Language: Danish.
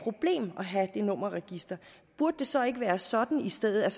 have det nummerregister burde det så ikke være sådan i stedet